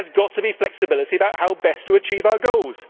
There has got to be flexibility as to how best to achieve our goals.